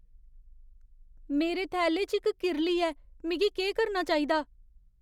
मेरे थैले च इक किरली ऐ। मिगी केह् करना चाहिदा?